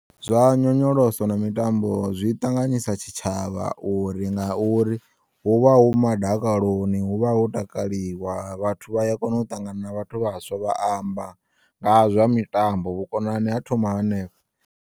Zwa nyonyoloso na mitambo, zwiṱanganyisa tshitshavha uri ngauri huvha hu madakaloni huvha hotakaliwa vhathu vha ya kona u ṱangana na vhathu vhaswa vha amba nga zwa mitambo vhukonani ha thoma henefho.